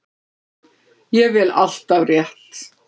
Ég vel alltaf rétt.